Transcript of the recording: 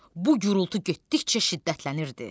Bu gürultu getdikcə şiddətlənirdi.